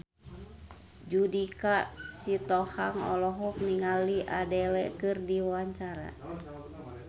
Judika Sitohang olohok ningali Adele keur diwawancara